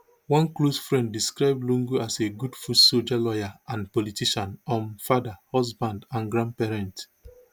one close friend describe lungu as a good footsoldier lawyer and politician um father husband and grandparent